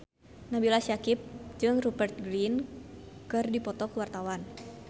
Nabila Syakieb jeung Rupert Grin keur dipoto ku wartawan